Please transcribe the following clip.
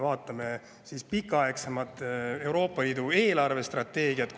Vaatame pikaaegsemat Euroopa Liidu eelarvestrateegiat.